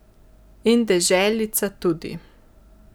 In deželica tudi.